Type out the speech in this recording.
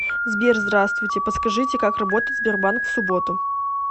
сбер здравствуйте подскажите как работает сбербанк в субботу